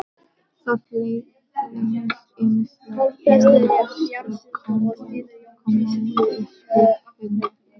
Það leynist ýmislegt í neðstu kommóðuskúffunni, já.